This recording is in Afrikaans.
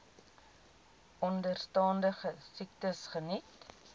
onderstaande siektes geniet